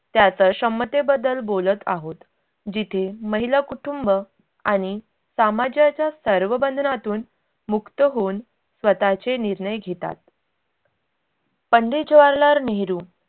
त्याच क्षमतेबद्दल बोलत आहोत जिथे महिला कुटुंब आनि सामाजाच्या सर्व बंधनातून मुक्त होऊन स्वतःचे निर्णय घेतात. पंडित जवाहरलाल नेहरू